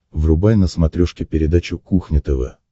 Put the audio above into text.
врубай на смотрешке передачу кухня тв